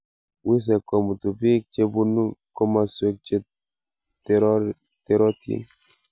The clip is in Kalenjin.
Wisek komutuu biik che bunuu kotosweek che terotin.